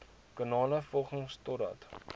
kanale volg totdat